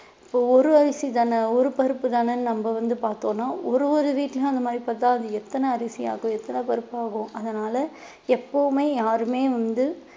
இப்போ ஒரு அரிசிதானே ஒரு பருப்புதானே நம்ம வந்து பார்த்தோம்ன்னா ஒரு ஒரு வீட்டுலயும் அந்த மாதிரி பார்த்தா அது எத்தனை அரிசி ஆகும் எத்தனை பருப்பு ஆகும் அதனால எப்பவுமே யாருமே வந்து